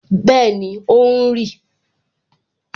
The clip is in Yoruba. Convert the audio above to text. Bẹẹni, ó ń rì